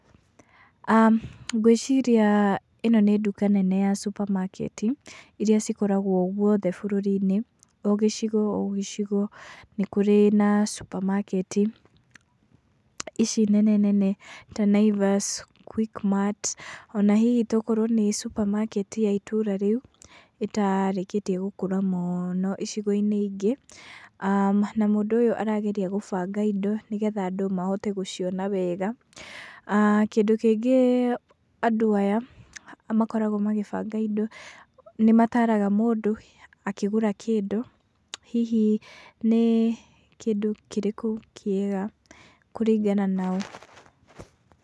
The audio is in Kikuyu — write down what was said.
Ngwĩciria ĩno nĩ nduka nene ya supermarket i iria cikoragwo guothe bũrũrinĩ, o gĩcigo o gĩcigo nĩ kũrĩ na supermarket i ici nene nene ta Naivash, Quickmart ona hihi ona akorwo nĩ supermarket i ya itũra rĩu ĩtarĩkĩtie gũkũra mũno icigo inĩ ingĩ na mũndũ ũyũ arageria gũbanga indo nĩ getha andũ mahote gũciona wega. Kĩndũ kĩngĩ andũ aya makoragwo magĩbanga indo nĩ mataraga mũndũ akĩgũra kĩndũ hihi nĩ kĩndũ kĩrĩkũ kĩega kũringana nao.